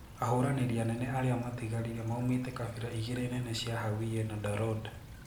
Ahũranirĩ anene aria matigarire maumite kabira igiri nene cia Hawiye na Darod.